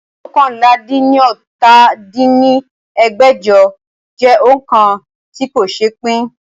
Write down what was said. oókànlá-dín-ní-ọ́ta dín ní ẹgbẹ́jọ jẹ́ òońkà tí kò ṣe pín